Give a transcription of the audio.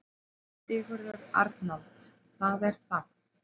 Sigurður Arnalds: Það er það.